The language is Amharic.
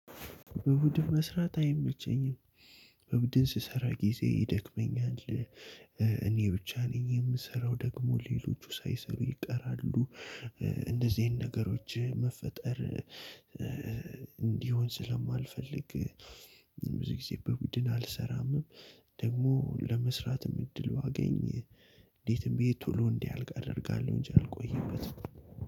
በቡድን መስራት አይመቸኝም። በቡድን ስሰራ ጊዜ ይደክመኛል። እኔ ብቻ ነኝ የምሰራው ደግሞ ሌሎቹ ሳይሰሩ ይቀራሉ። እንደዚህ አይነት ነገሮች መፈጠር። እንዲሆን ስለማልፈልግ ብዙ ጊዜ በቡድን አልሰራምም። ደግሞ ለመስራትም እድሉ ባገኝ እንዴትም ብዬ ቶሎ እንዲአልቅ አደርጋለሁ እንጂ አልቆይበትም።